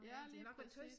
Ja lige præcis